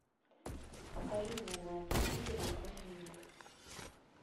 покажи мне на телевизоре конный мир